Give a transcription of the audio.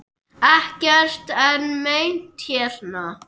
Ekkert er meint hérna.